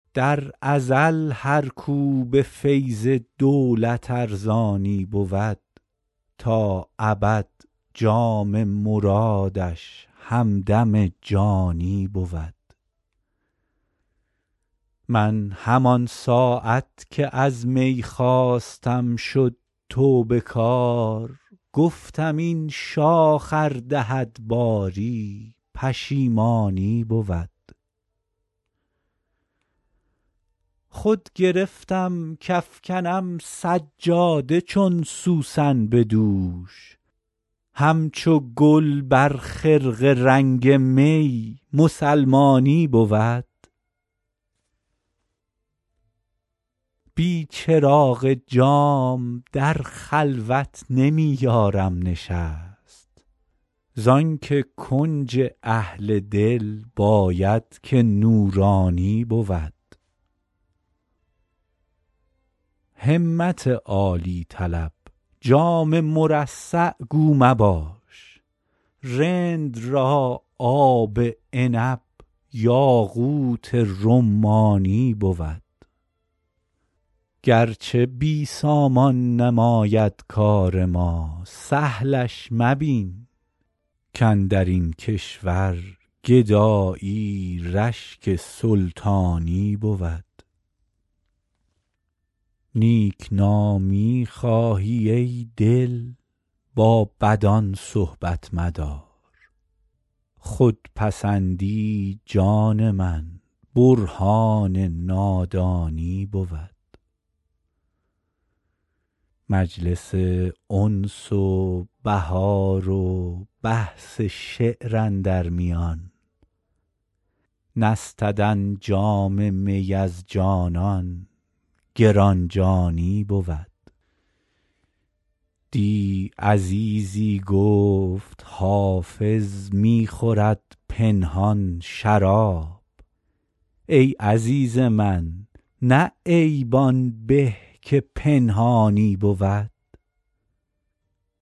در ازل هر کو به فیض دولت ارزانی بود تا ابد جام مرادش همدم جانی بود من همان ساعت که از می خواستم شد توبه کار گفتم این شاخ ار دهد باری پشیمانی بود خود گرفتم کافکنم سجاده چون سوسن به دوش همچو گل بر خرقه رنگ می مسلمانی بود بی چراغ جام در خلوت نمی یارم نشست زان که کنج اهل دل باید که نورانی بود همت عالی طلب جام مرصع گو مباش رند را آب عنب یاقوت رمانی بود گرچه بی سامان نماید کار ما سهلش مبین کاندر این کشور گدایی رشک سلطانی بود نیک نامی خواهی ای دل با بدان صحبت مدار خودپسندی جان من برهان نادانی بود مجلس انس و بهار و بحث شعر اندر میان نستدن جام می از جانان گران جانی بود دی عزیزی گفت حافظ می خورد پنهان شراب ای عزیز من نه عیب آن به که پنهانی بود